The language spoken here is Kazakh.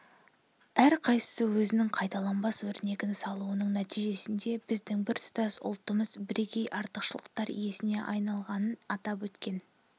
әрқайсысы өзінің қайталанбас өрнегін салуының нәтижесінде біздің біртұтас ұлтымыз бірегей артықшылықтар иесіне айналғанын атап өткен